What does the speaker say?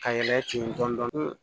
Ka yɛlɛ ten dɔni